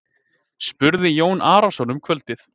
spurði Jón Arason um kvöldið.